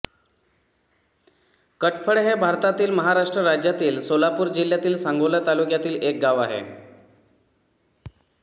कटफळ हे भारतातील महाराष्ट्र राज्यातील सोलापूर जिल्ह्यातील सांगोला तालुक्यातील एक गाव आहे